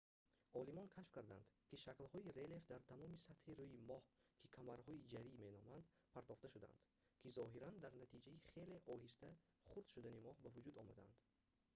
олимон кашф карданд ки шаклҳои релеф дар тамоми сатҳи рӯи моҳ ки камарҳои ҷарӣ меноманд партофта шудаанд ки зоҳиран дар натиҷаи хеле оҳиста хурд шудани моҳ ба вуҷуд омадаанд